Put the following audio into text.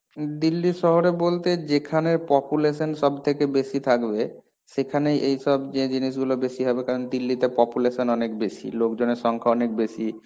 দিল্লি শহরে বলতে যেখানের population সব থেকে বেশি থাকবে, সেখানে এইসব যে জিনিসগুলো বেশি হবে কারণ দিল্লিতে population অনেক বেশি, লোকজনের সংখ্যা অনেক বেশি,